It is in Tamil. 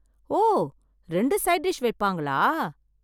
ஓ... ரெண்டு சைட் டிஷ் வைப்பாங்களா...